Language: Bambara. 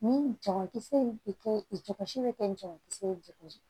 Ni jabakisɛ in bɛ kɛ i jɔsi bɛ kɛ jabakisɛ ye